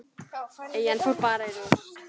Eyjan fór bara í rúst.